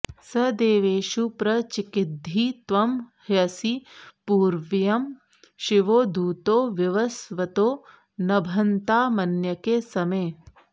स दे॒वेषु॒ प्र चि॑किद्धि॒ त्वं ह्यसि॑ पू॒र्व्यः शि॒वो दू॒तो वि॒वस्व॑तो॒ नभ॑न्तामन्य॒के स॑मे